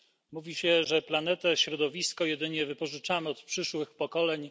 Mówi się, że planetę i środowisko jedynie wypożyczamy od przyszłych pokoleń.